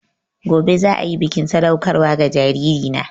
Gobe ​​za a yi bikin sadaukarwa ga jaririna